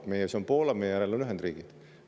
Meie ees on Poola, meie järel on Ühendriigid.